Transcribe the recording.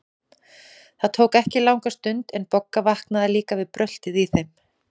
Það tók ekki langa stund, en Bogga vaknaði líka við bröltið í þeim.